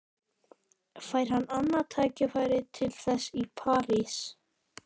Fær hann annað tækifæri til þess í París?